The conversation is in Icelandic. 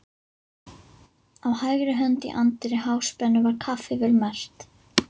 Á hægri hönd í anddyri Háspennu var kaffivél merkt